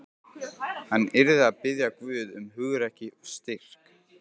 Hann yrði að biðja Guð um hugrekki og styrk.